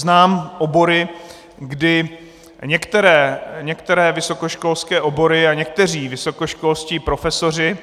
Znám obory, kdy některé vysokoškolské obory a někteří vysokoškolští profesoři